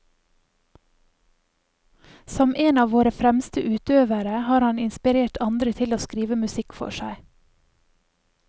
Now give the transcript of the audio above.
Som en av våre fremste utøvere har han inspirert andre til å skrive musikk for seg.